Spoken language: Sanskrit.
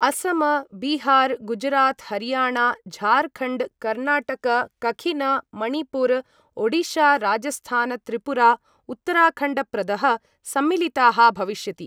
असम बिहार गुजरात हरियाणा झारखण्ड कर्नाटक कखिन मणिपुर ओडिशा राजस्थान त्रिपुरा उत्तराखण्डप्रदः सम्मिलिताः भविष्यति।